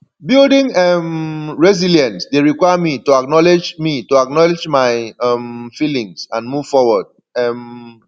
building um resilience dey require me to acknowledge me to acknowledge my um feelings and move forward um